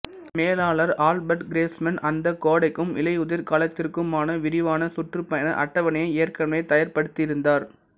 மேலாளர் Albert Grossman அந்த கோடைக்கும் இலையுதிர் காலத்திற்குமான விரிவான சுற்றுப்பயண அட்டவணையை ஏற்கனவே தயார்படுத்தியிருந்தார்